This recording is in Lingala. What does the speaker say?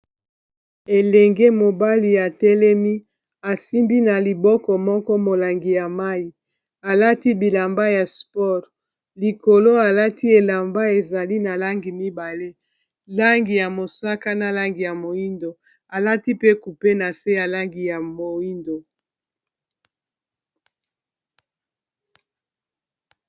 elenge mobali ya telemi asimbi na liboko moko molangi ya mai alati bilamba ya spore likolo alati elamba ezali na langi mibale langi ya mosaka na langi ya moindo alati pe kupe na se ya langi ya moindo